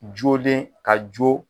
Jolen ka jo